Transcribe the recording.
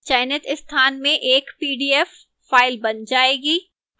चयनित स्थान में एक pdf file बन जाएगी